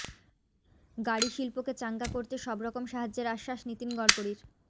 গাড়ি শিল্পকে চাঙ্গা করতে সবরকম সাহায্যের আশ্বাস নীতিন গড়করির